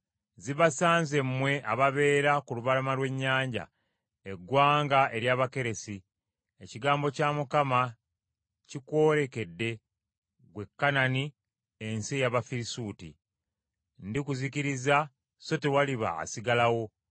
Zibasanze mmwe ababeera ku lubalama lw’ennyanja, eggwanga ery’Abakeresi! Ekigambo kya Mukama kikwolekedde, ggwe Kanani, ensi ey’Abafirisuuti. Ndikuzikiriza so tewaliba asigalawo.